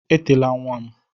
Etela nwa m.